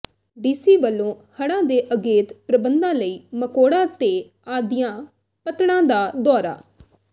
DC ਵੱਲੋਂ ਹੜ੍ਹਾਂ ਦੇ ਅਗੇਤੇ ਪ੍ਰਬੰਧਾਂ ਲਈ ਮਕੋੜਾ ਤੇ ਆਦੀਆਂ ਪੱਤਣਾਂ ਦਾ ਦੌਰਾ